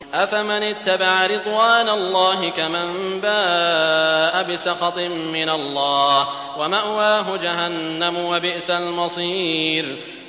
أَفَمَنِ اتَّبَعَ رِضْوَانَ اللَّهِ كَمَن بَاءَ بِسَخَطٍ مِّنَ اللَّهِ وَمَأْوَاهُ جَهَنَّمُ ۚ وَبِئْسَ الْمَصِيرُ